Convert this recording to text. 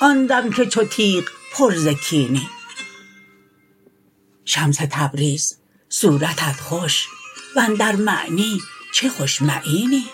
آن دم که چو تیغ پر ز کینی شمس تبریز صورتت خوش و اندر معنی چه خوش معینی